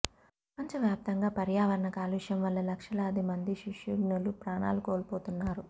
ప్రపంచవ్యాప్తంగా పర్యావరణ కాలుష్యం వల్ల లక్షలాది మంది శిశువ్ఞలు ప్రాణాలు కోల్పోతున్నా రు